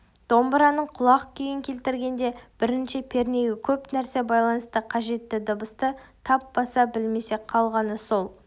домбыраның құлақ күйін келтіргенде бірінші пернеге көп нәрсе байланысты қажетті дыбысты тап баса білсең қалғаны сол